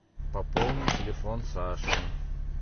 пополнить телефон саши